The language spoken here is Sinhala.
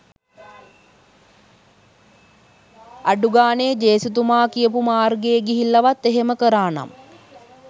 අඩුගානේ ජේසුතුමා කියපු මාර්ගයේ ගිහිල්ලවත් එහෙම කරානම්